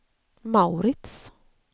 Mauritz